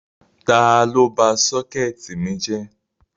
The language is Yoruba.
Tàlọ bá sọkẹtì mi jẹ́?